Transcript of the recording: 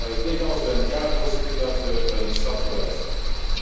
Ik denk alles bij elkaar, Voorzitter, dat we een stap vooruit zetten.